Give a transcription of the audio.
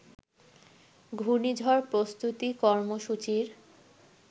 ঘূর্ণিঝড় প্রস্তুতি কর্মসূচির